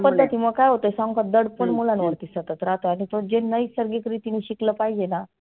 पध्दतीमुळ काय होत सांगु का? दडपण मुलांवरती सतत राहत आणि पण जे नैसर्गिक रितीने शिकल पाहीजेना